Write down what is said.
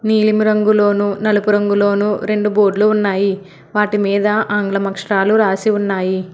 నీలిమ రంగులోను నలుపు రంగులోను రెండు బోర్డ్లు ఉన్నాయి వాటి మీద ఆంగ్లం అక్షరాలు రాసి ఉన్నాయి.